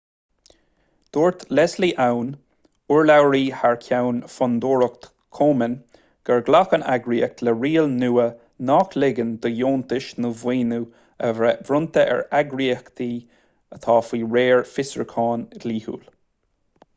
dúirt leslie aun urlabhraí thar ceann fondúireacht komen gur ghlac an eagraíocht le riail nua nach ligeann do dheontais nó maoiniú a bheith bronnta ar eagraíochtaí atá faoi réir fiosrúcháin dhlíthiúil